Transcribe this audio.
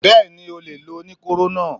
Bẹ́ẹ̀ni, ó lè lo oníkóró náà.